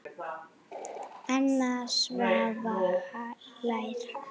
Anna Svava hlær hátt.